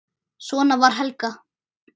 Svona var Helga.